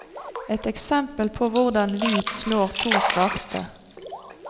Et eksempel på hvordan hvit slår to svarte.